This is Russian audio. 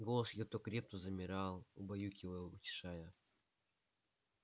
голос её то креп то замирал убаюкивая утешая